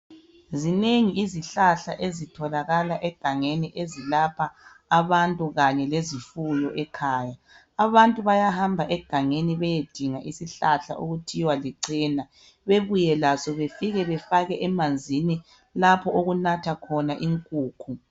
Zinengi izihlahla ezitholakala egangeni ezilapha abantu kanye lezifuyo ekhaya. Abantu bayahamba egangeni beyedinga isihlahla okuthiwa licena bebuye laso befike befake emanzini lapho okunatha khona inkukhu.